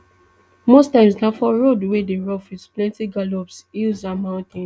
most times na for roads wey dey rough wit plenti gallops hills and mountains